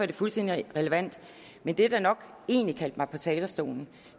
det fuldstændig relevant men det der nok egentlig kaldte mig op på talerstolen